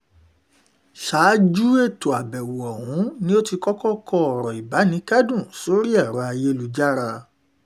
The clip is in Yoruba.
ṣáájú ètò àbẹ̀wò ọ̀hún ló ti ti kọ́kọ́ kọ ọ̀rọ̀ ìbánikẹ́dùn sórí ẹ̀rọ ayélujára